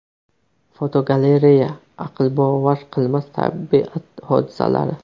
Fotogalereya: Aqlbovar qilmas tabiat hodisalari.